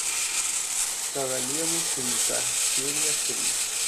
королевы крика серия три